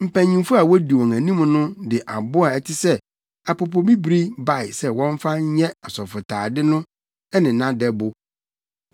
Mpanyimfo a wodi wɔn anim no de abo a ɛte sɛ apopobibiri bae sɛ wɔmfa nyɛ asɔfotade no ne nʼadɛbo.